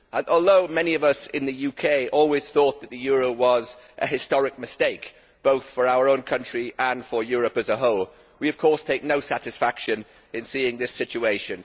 Although many of us in the UK always thought that the euro was a historic mistake, both for our own country and for Europe as a whole, we of course take no satisfaction in seeing this situation.